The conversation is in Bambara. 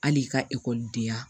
Hali i ka ekɔlidenya